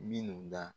Minnu da